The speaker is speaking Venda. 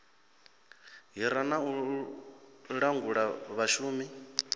hira na u langula vhashumi